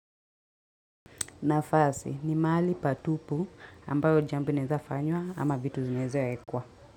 Nafasi ni mahali patupu ambao jambo inaezafanywa ama vitu zinaezaekwa.